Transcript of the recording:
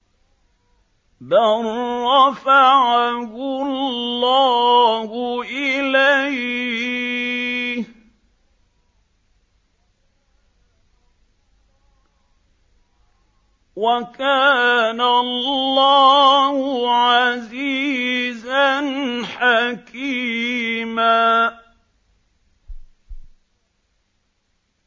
بَل رَّفَعَهُ اللَّهُ إِلَيْهِ ۚ وَكَانَ اللَّهُ عَزِيزًا حَكِيمًا